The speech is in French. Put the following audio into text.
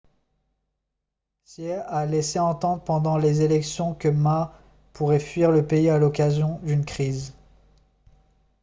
hsieh a laissé entendre pendant les élections que ma pourrait fuir le pays à l'occasion d'une crise